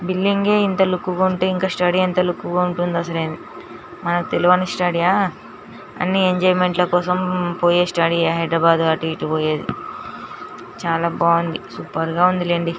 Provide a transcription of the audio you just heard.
Building గే ఇంత look గ ఉంటే ఇంక స్టడీ ఎంత లుక్ గా ఉంటుంది అసలే మన తెలవని స్టడీ హ అన్ని ఎంజాయిమెంట్ ల కోసం పోయే స్టేడి యే హైదరాబాదు అటు ఎటు పోయేది చాలా బాగుంది సూపర్ గా ఉంది లెండి.